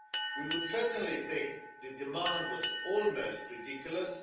We would certainly think the demand was almost ridiculous.